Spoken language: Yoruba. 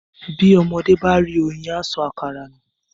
Bí ọmọdé bá rí oyin á sọ àkàrà nù